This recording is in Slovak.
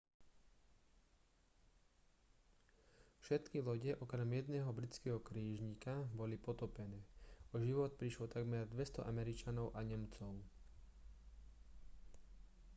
všetky lode okrem jedného britského krížnika boli potopené o život prišlo takmer 200 američanov a nemcov